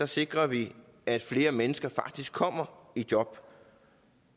sikrer vi at flere mennesker faktisk kommer i job